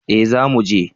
Eh za mu je